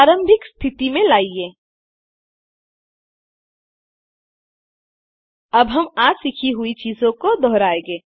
प्रारंभिक स्थिति में लाइए अब हम आज सीखी हुई चीजों को दोहराएंगे